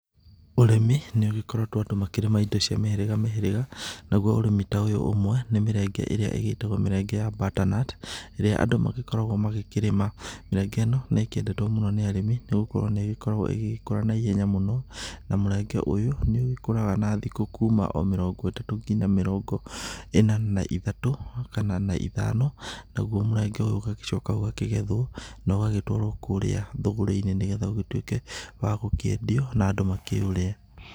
Ũrĩmi nĩ ũgĩkoretwo andũ makĩrĩma indo cia mĩhĩrĩga mĩhĩrĩga, naguo ũrĩmi ta ũyũ ũmwe nĩ mĩrenge ĩrĩa ĩgĩtagwo mĩrenge ya butternut Nĩ maũndũ marĩkũ magũgũkenia ũroona haha?_, ĩrĩa andũ magĩkoragwo magĩkĩrĩma. Mĩrenge ĩno nĩ ĩkĩendetwo mũno nĩ arĩmĩ nĩ gũkorwo nĩ ĩgĩkoragwo ĩgĩkũra na ihenya mũno na mũrenge ũyũ nĩ ũgĩkũraga na thikũ kuma o mĩrongo ĩtatũ nginya mĩrongo ĩna na ithatũ kana na ithano, naguo mũrenge ũyũ nĩ ũgĩcokaga ũgakĩgethwo na ũgagĩtwarwo kũrĩa thũgũrĩ-inĩ nĩgetha ũgĩtuĩke wa gũkĩendio na andũ makĩũrĩe.